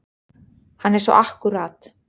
Hann er svo akkúrat.